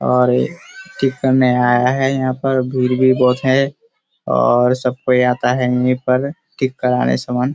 और ये कितने आया है यहाँ पर भीड़ भी बहुत है और सब कोई आता है यहाँ पर ठीक कराने समान।